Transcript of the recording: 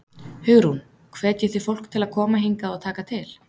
Hugrún: Hvetjið þið fólk til að koma hingað og taka til?